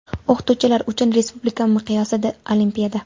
O‘qituvchilar uchun respublika miqyosida olimpiada.